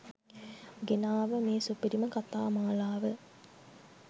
ගෙනාව මේ සුපිරිම කතා මාලාව